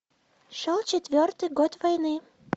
шел четвертый год войны